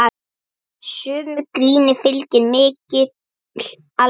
Sumu gríni fylgir mikil alvara.